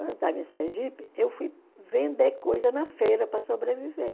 Quando eu estava em Sergipe, eu fui vender coisa na feira para sobreviver.